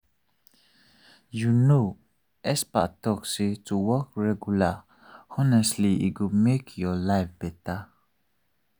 you know experts talk say to walk regular honestly e go make your life better.